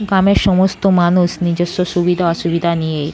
গামের সমস্ত মানুষ নিজস্ব সুবিধা অসুবিধা নিয়ে--